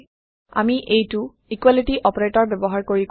আমি এইটো equality operator ব্যৱহাৰ কৰি কৰো